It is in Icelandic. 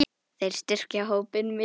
Þeir styrkja hópinn mikið.